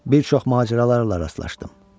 Bir çox macəralarla rastlaşdım.